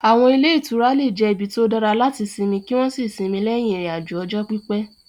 Àwọn ilé ìtura lè jẹ́ ibi tó dára láti sinmi kí wọ́n sì sinmi lẹ́yìn ìrìn-àjò ọjọ́ pípẹ́.